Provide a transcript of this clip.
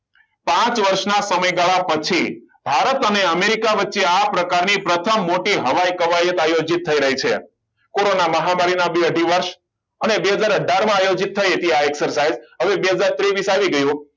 પાંચ વર્ષના સમયગાળા પછી ભારત અને અમેરિકા વચ્ચે આ પ્રકારની પ્રથમ મોટી હવાઈ આયોજિત થઈ રહી છે કોરોના મહામારીના બે દિવસ અને બે હજાર અથાર માં આયોજિત થયેલ આ exercise હવે આ બે હજાર ત્રેવિસ આવી ગયું